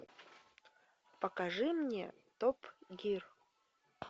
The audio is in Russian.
покажи мне топ гир